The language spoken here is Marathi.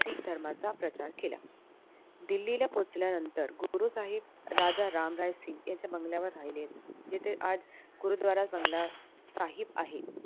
शीख धर्माचा प्रचार केला दिल्लीला पोहोचल्यानंतर गुरुसाहेब राजा रामराय सिंग याच्या बंगल्यावर राहिले येथे आज गुरुद्वारा बंगला आहेत